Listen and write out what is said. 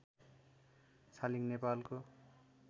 छालिङ नेपालको